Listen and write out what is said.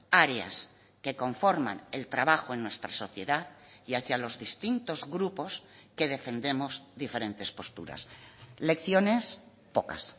áreas que conforman el trabajo en nuestra sociedad y hacia los distintos grupos que defendemos diferentes posturas lecciones pocas